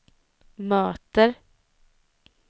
möter